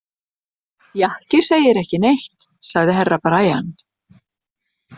Jakki segir ekki neitt, sagði Herra Brian.